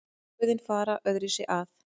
Blöðin fara öðruvísi að.